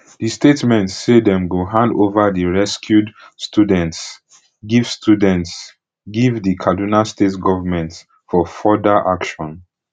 di statement say dem go hand ova di rescued students give students give di kaduna state government for further action